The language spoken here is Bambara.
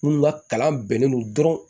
Minnu ka kalan bɛnnen don dɔrɔn